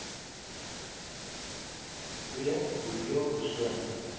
ii hoeveel persone